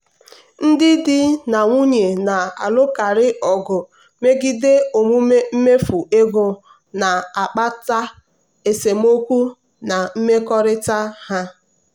ndị di na nwunye na-alụkarị ọgụ megide omume mmefu ego na-akpata esemokwu na mmekọrịta ha.